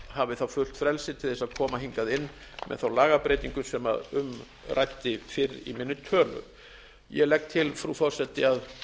hafi þá fullt frelsi til þess að koma hingað inn með þá lagabreytingu sem um ræddi fyrr minni tölu ég legg til frú forseti að